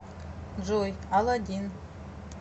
джой алладин